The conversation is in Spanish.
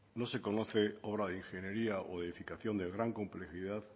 no se conoce obra de ingeniería o de edificación de gran complejidad